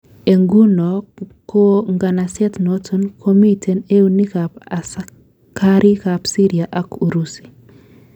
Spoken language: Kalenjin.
En nguno ko nganaset noton komiten eunek ab asikarik ab Syria ak Urusi